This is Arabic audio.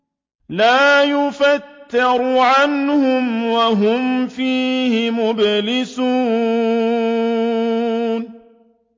لَا يُفَتَّرُ عَنْهُمْ وَهُمْ فِيهِ مُبْلِسُونَ